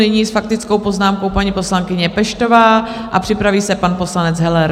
Nyní s faktickou poznámkou paní poslankyně Peštová a připraví se pan poslanec Heller.